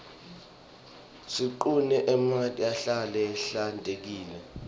siqune emanti ahlale ahlale ahlantekile